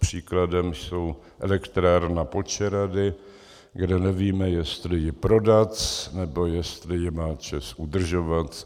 Příkladem je elektrárna Počerady, kde nevíme, jestli ji prodat, nebo jestli ji má ČEZ udržovat.